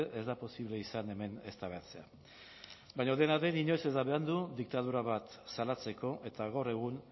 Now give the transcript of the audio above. ez da posible izan hemen eztabaidatzea baina dena den inoiz ez da berandu diktadura bat salatzeko eta gaur egun